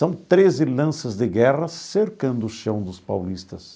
São treze lanças de guerra cercando o chão dos paulistas.